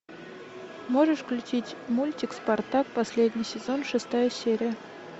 можешь включить мультик спартак последний сезон шестая серия